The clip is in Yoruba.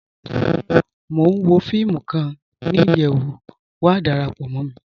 Mọ̀ n wọ fíìmù kan ni iyẹwú, wà dárápọ̀ mọ̀ mí.